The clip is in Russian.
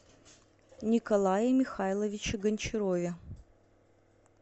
николае михайловиче гончарове